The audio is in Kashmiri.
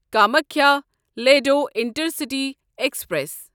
Kamakhya Ledo intercity express